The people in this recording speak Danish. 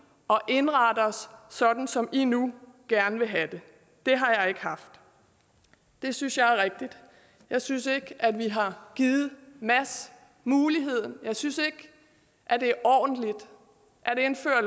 og indrette os sådan som i nu gerne vil have det det har jeg ikke haft det synes jeg er rigtigt jeg synes ikke at vi har givet mads muligheden jeg synes ikke at det er ordentligt at indføre